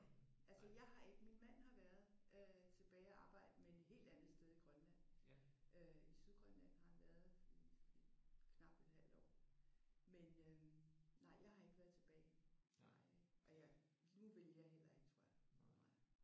Nej. Altså jeg har ikke. Min mand har været øh tilbage at arbejde men et helt andet sted i Grønland. Øh i Sydgrønland har han været i i knapt et halvt år men nej jeg har ikke været tilbage. Det har jeg ikke og nu ville jeg heller ikke tror jeg